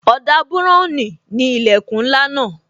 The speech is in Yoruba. Ọ̀dà buran ni ilẹkun ńlá náà